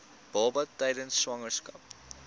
baba tydens swangerskap